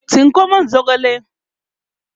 tsinko min zogale!